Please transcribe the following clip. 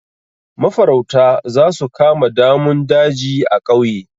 Mafarauta za su kama damun daji a ƙauye.